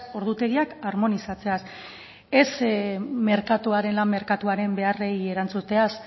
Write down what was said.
ordutegiak armonizatzeaz ez merkatuaren lan merkatuaren beharrei erantzuteaz